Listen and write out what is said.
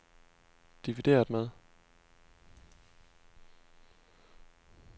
divideret med